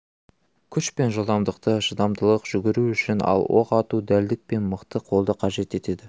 күш пен жылдамдықты шыдамдылық жүгіру үшін ал оқ ату дәлдік пен мықты қолды қажет етеді